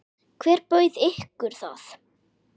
Hver bauð ykkur það?